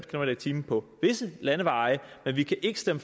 time på visse landeveje men vi kan ikke stemme